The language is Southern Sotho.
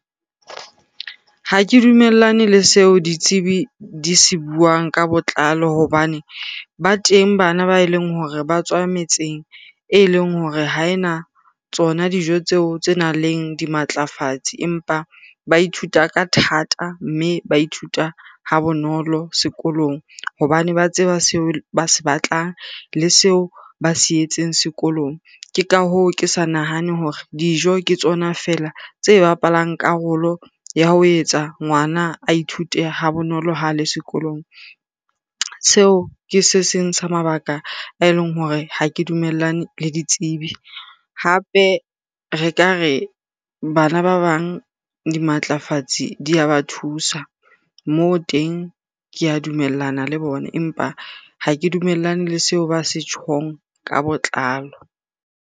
Ha ke dumellane le seo ditsebi di se buang ka botlalo hobane ba teng bana ba eleng hore ba tswa metseng eleng hore ha ena tsona dijo tseo tse nang le dimatlafatsi. Empa ba ithuta ka thata mme ba ithuta ha bonolo sekolong hobane ba tseba seo ba se batlang le seo ba se yetseng sekolong. Ke ka hoo, ke sa nahane hore dijo ke tsona fela tse bapalang karolo ya ho etsa ngwana a ithute ha bonolo ha le sekolong. Seo ke se seng sa mabaka a eleng hore ha ke dumellane le ditsebi. Hape re ka re bana ba bang dimatlafatsi di ya ba thusa moo teng, ke a dumellana le bona. Empa ha ke dumellane le seo ba se tjhong ka botlalo.